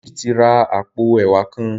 David tí rá àpò ẹwà kán.